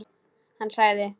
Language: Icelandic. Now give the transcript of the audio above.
Hann sagði: